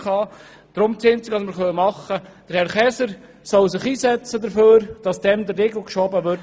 Das Einzige, was wir tun können, ist, dass sich Herr Käser dafür einsetzt, dass der Riegel vorgeschoben wird.